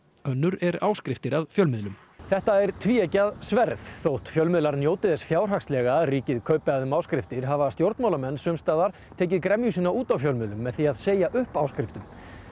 önnur er áskriftir að fjölmiðlum þetta er tvíeggjað sverð þótt fjölmiðlar njóti þess fjárhagslega að ríkið kaupi af þeim áskriftir hafa stjórnmálamenn sums staðar tekið gremju sína út á fjölmiðlum með því að segja upp áskriftum